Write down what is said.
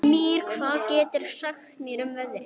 Mír, hvað geturðu sagt mér um veðrið?